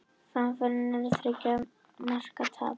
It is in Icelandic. Framför en þriggja marka tap